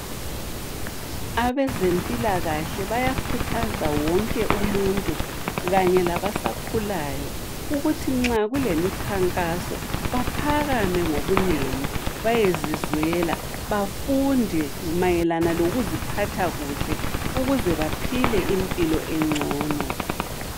Abeze mpilakahle bayakhuza wonke umuntu kanye labasakhulayo ukuthi nxa kulemi khankaso baphakame ngobunengi bayezizwela bafunde mayelana lokuzipha kuhle ukuze baphile impilo engcono.